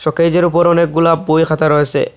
কেজের ওপর অনেকগুলা বইখাতা রয়েসে।